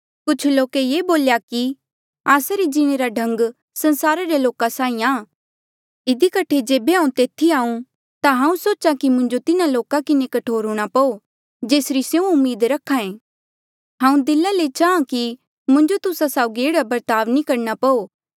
कुछ लोक ये बोले कि आस्सा रे जीणे रा ढंग संसारा रे लोका साहीं आ इधी कठे जेबे हांऊँ तेथी आऊ ता हांऊँ सोचा कि मुंजो तिन्हा लोका किन्हें कठोर हूंणा पो जेसरी स्यों उम्मीद रख्हा ऐ हांऊँ दिला ले चाहां कि मुंजो तुस्सा साउगी एह्ड़ा बर्ताव नी करणा पो